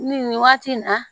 Ni nin waati in na